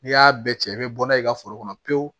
N'i y'a bɛɛ cɛ i bɛ bɔ n'a ye i ka foro kɔnɔ pewu